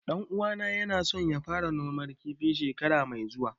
Ɗan uwana ya na so ya fara noman kifi shekara mai zuwa